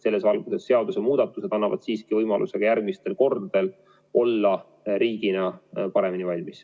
Selles valguses need seadusemuudatused annavad siiski võimaluse ka järgmistel kordadel olla riigina paremini valmis.